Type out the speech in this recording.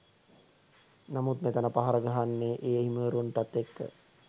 නමුත් මෙතන පහර ගහන්නෙ ඒ හිමිවරුන්ටත් එක්ක.